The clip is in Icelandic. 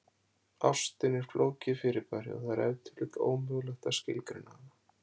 Ástin er flókið fyrirbæri og það er ef til vill ómögulegt að skilgreina hana.